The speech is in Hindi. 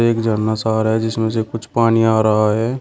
एक झरना सा आ रहा है जिसमें से कुछ पानी आ रहा है।